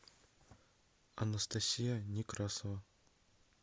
анастасия некрасова